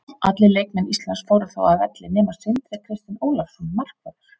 Allir leikmenn Íslands fóru þá af velli nema Sindri Kristinn Ólafsson markvörður.